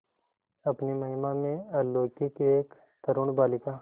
अपनी महिमा में अलौकिक एक तरूण बालिका